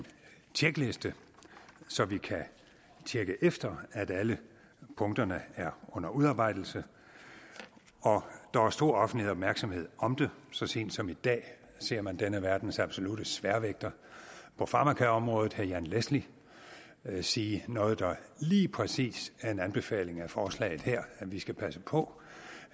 tjekliste så vi kan tjekke efter at alle punkterne er under udarbejdelse der er stor offentlig opmærksomhed om det så sent som i dag ser man denne verdens absolutte sværvægter på farmakaområdet herre jan leschly sige noget der lige præcis er en anbefaling af forslaget her at vi skal passe på